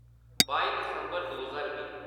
बाई दिसम्बर दो ज्हार बीह्